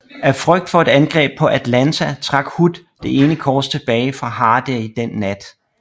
Af frygt for et angreb på Atlanta trak Hood det ene korps tilbage fra Hardee den nat